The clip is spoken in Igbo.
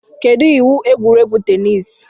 Kedu iwu egwuregwu teniisi?